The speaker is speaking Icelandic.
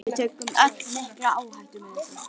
Við tökum öll mikla áhættu með þessu.